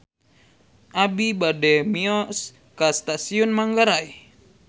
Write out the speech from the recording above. Abi bade mios ka Stasiun Manggarai